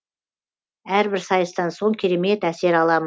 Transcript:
әрбір сайыстан соң керемет әсер аламын